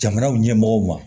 Jamana ɲɛmɔgɔw ma